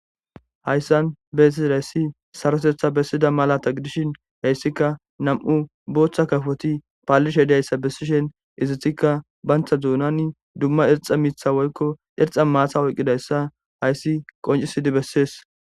hayssan beessi hayssi sarotetha bessida malata gidishin heyssikka nam7u booththa kafoti paalish hedayssa bessishen izitikka bantha zuunani dumma erxa mitha woykko erxa maatha woyqqidayssa hayssi qoncisidi bessees